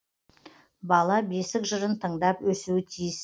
бала бесік жырын тыңдап өсуі тиіс